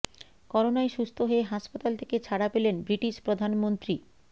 করোনায় সুস্থ হয়ে হাসপাতাল থেকে ছাড়া পেলেন ব্রিটিশ প্রধানমন্ত্রী